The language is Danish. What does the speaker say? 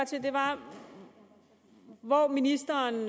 til var hvor ministeren